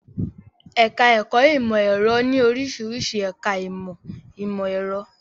Ẹ̀ká ẹ̀kọ́ ìmọ̀ ẹ̀rọ ní oríṣiríṣi ẹ̀ká ìmọ̀ ìmọ̀ ẹ̀rọ